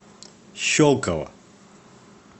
щелково